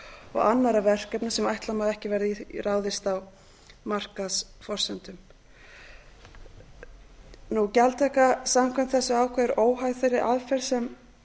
og annarra verkefna sem ætla má að ekki verði ráðist í á markaðsforsendum gjaldtaka samkvæmt þessu ákvæði er óháð þeirri aðferð sem